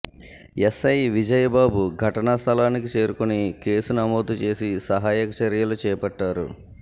SI Vijay Babu ఘటనా స్థలానికి చేరుకొని కేసు నమోదు చేసి సహాయక చర్యలు చేపట్టారు